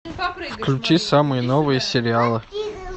включи самые новые сериалы